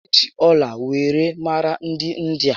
E ji ọla were mara dị India